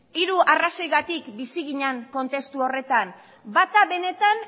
hiru arrazoiengatik bizi ginen kontestu horretan bata benetan